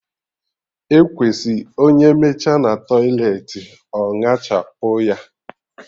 Ekwesị onye mechaa na tọiletị ọ ñachapụ ya